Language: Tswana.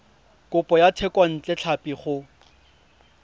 kopo ya thekontle tlhapi go